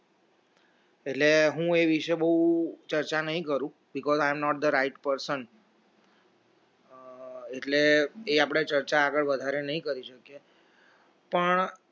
એટલે હું એ વિષે બહુ ચર્ચા નહીં કરું because i am the not right person એટલે એ આપણે ચર્ચા આગળ વધારે નહીં કરી શકીએ પણ